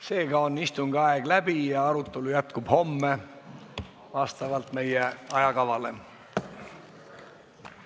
Seega on istungi aeg läbi ja arutelu jätkub homme vastavalt meie ajakavale.